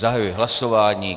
Zahajuji hlasování.